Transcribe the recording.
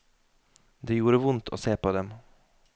Det gjorde vondt å se på dem.